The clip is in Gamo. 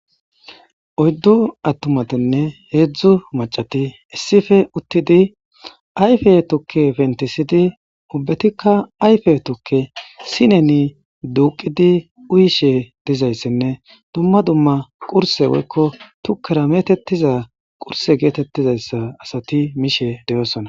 Oydu atumatine hedzu mac'ati issipe utidi ayfe tuke pentisidi ubatika ayfe tuke sineni duqidi uyishe dizaysine duma duma qurse woyko tukera metetiza qurse getetizaysa asati mishe de'osona.